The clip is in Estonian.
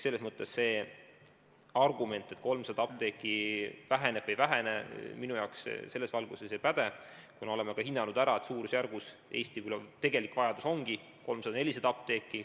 Selles mõttes see argument, et 300 apteeki jääb vähemaks, minu arvates selles valguses ei päde, kuna me oleme ära hinnanud, et Eesti tegelik vajadus ongi 300–400 apteeki.